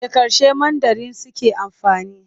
Da harshen Mandarin suke amfani.